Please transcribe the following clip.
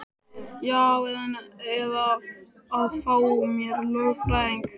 Já eða að fá mér lögfræðing.